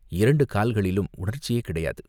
இரண்டு கால்களிலும் உணர்ச்சியே கிடையாது.